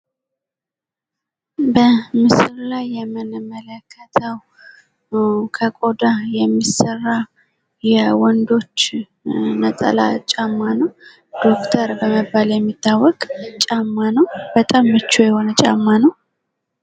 በምስሉ ላይ የምንመለከተው ከቆዳ የሚሰራ የወንዶች ነጠላ ጫማ ነው ። ዶክተር በመባል የሚታወቅ ጫማ ነው ። በጣም ምቹ የሆነ ጫማ ነው ።